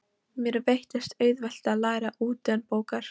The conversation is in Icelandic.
Mér veittist auðvelt að læra utanbókar.